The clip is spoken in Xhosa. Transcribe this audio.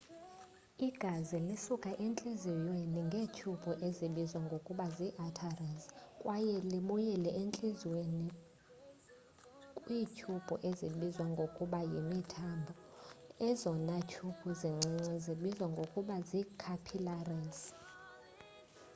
igazi lisuka entliziyweni ngeetyhubhu ezibizwa ngokuba zii arteries kwaye libuyele entliziyweni kwiityhubhu ezibizwa ngokuba yimithambo ezona tyhubhu zincinci zibizwa ngokuba zii-capillaries